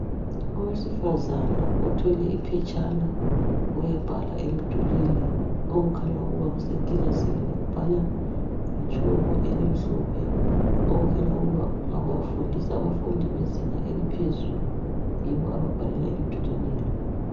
Owesifazana othwele iphetshana uyabhala emdulwini okukhanya ukuthi kusekilasini. Ubhala ngetshoko elimhlophe okukhanya ukuba ufundisa abafundi bezinga eliphezulu yibo ababhalela emdulwini lo.